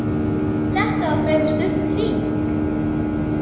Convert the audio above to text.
Þetta var fremur stutt þing.